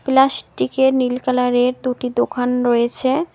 প্লাস্টিকের নীল কালারের দুটি দোকান রয়েছে।